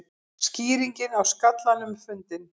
Skýringin á skallanum fundin